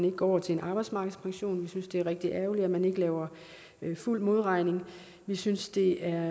ikke går over til en arbejdsmarkedspension vi synes det er rigtig ærgerligt at man ikke laver fuld modregning og vi synes det er